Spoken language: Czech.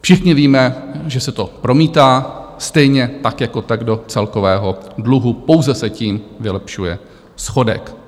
Všichni víme, že se to promítá stejně tak jako tak do celkového dluhu, pouze se tím vylepšuje schodek.